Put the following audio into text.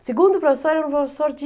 O segundo professor era um professor de...